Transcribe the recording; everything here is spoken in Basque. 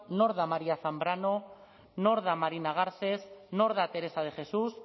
nor da maría zambrano nor da marina garcés nor da teresa de jesús